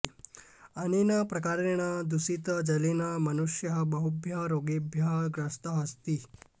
अनेन प्रकारेण दूषितजलेन मनुष्यः बहुभ्यः रोगेभ्यः ग्रस्तः अस्ति